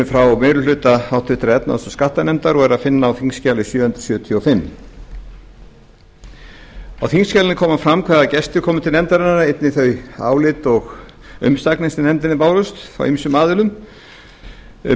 frá meiri hluta háttvirtrar efnahags og skattanefndar og er að finna á þingskjali sjö hundruð sjötíu og fimm á þingskjalinu koma fram hvaða gestir komu til nefndarinnar einnig þau álit og umsagnir sem nefndinni bárust frá ýmsum aðilum en